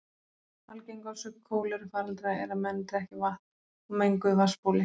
Algeng orsök kólerufaraldra er að menn drekki vatn úr menguðu vatnsbóli.